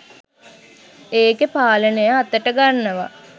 එකේ පාලනය අතට ගන්නවා